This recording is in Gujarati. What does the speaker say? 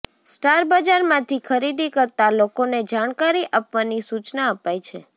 સ્ટાર બજારમાંથી ખરીદી કરતા લોકોને જાણકારી આપવાની સૂચના અપાઈ છે